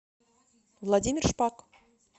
владимир шпак